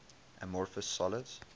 amorphous solids